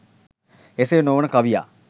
එසේ නොවන කවියා